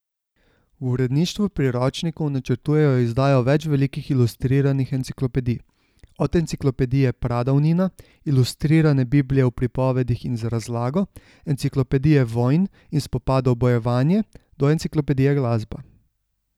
V uredništvu priročnikov načrtujejo izdajo več velikih ilustriranih enciklopedij, od enciklopedije Pradavnina, ilustrirane Biblije v pripovedih in z razlago, enciklopedije vojn in spopadov Bojevanje do enciklopedije Glasba.